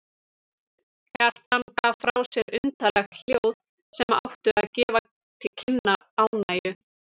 Kjartan gaf frá sér undarleg hljóð sem áttu að gefa til kynna ánægju.